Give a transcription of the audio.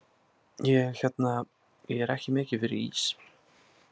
Ég hérna. ég er ekki mikið fyrir ís.